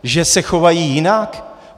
Že se chovají jinak?